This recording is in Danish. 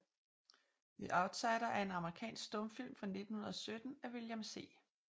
The Outsider er en amerikansk stumfilm fra 1917 af William C